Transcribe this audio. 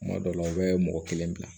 Kuma dɔw la u bɛ mɔgɔ kelen bila